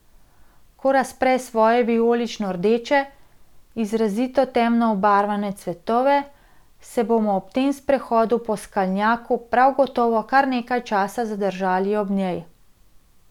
Ko razpre svoje vijolično rdeče, izrazito temno obarvane cvetove, se bomo ob sprehodu po skalnjaku prav gotovo kar nekaj časa zadržali ob njej.